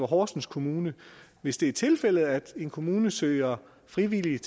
horsens kommune hvis det er tilfældet at en kommune søger frivillige